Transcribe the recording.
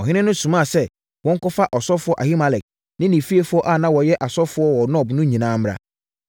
Ɔhene no somaa sɛ wɔnkɔfa ɔsɔfoɔ Ahimelek ne ne fiefoɔ a na wɔyɛ asɔfoɔ wɔ Nob no nyinaa mmra.